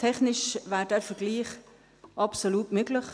Technisch wäre dieser Vergleich absolut möglich.